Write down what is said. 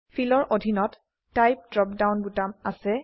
feel ৰ অধিনত type drop down বোতাম আছে